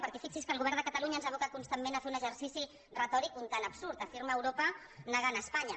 perquè fixi’s que el govern de catalunya ens aboca constantment a fer un exercici retòric un tant absurd afirma europa negant espanya